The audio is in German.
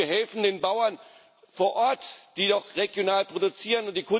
Und wir helfen den Bauern vor Ort, die dort regional produzieren.